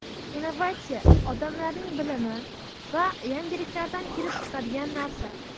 Innovatsiya odamlarning bilimi va yangiliklaridan kelib chiqadigan narsa.